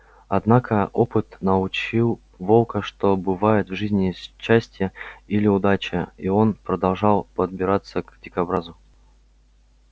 однако опыт научил волка что бывает в жизни счастье или удача и он продолжал подбираться к дикобразу